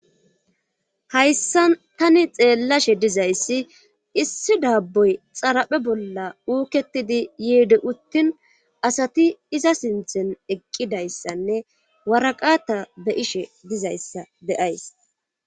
Hayssa tani xeellashe dizayssi issi daabboy xaraphe bolla uuketidi yiede uttin asati iza sinthen eqqidayssanne waraqata be ishe dizayssa beyays.